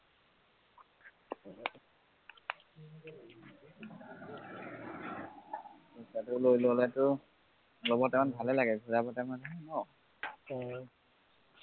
পইচাটো লৈ ললেটো লব time ত ভালে লাগে ঘূৰাব time তহে ন